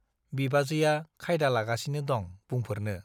बिबाजैया खायदा लागासिनो दं बुंफोरनो ।